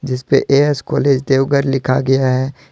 जिसपे A S college Deoghar लिखा गया है।